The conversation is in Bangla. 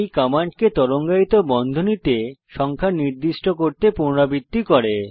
এটি কমান্ডকে তরঙ্গায়িত বন্ধনীতে সংখ্যা নির্দিষ্ট করে পুনরাবৃত্তি করে